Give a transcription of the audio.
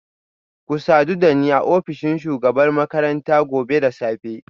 Ku sadu da ni a ofishin shugabar makaranta gobe da safe